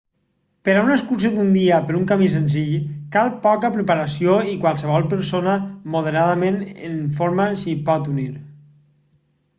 per a una excursió d'un dia per un camí senzill cal poca preparació i qualsevol persona moderadament en forma s'hi pot unir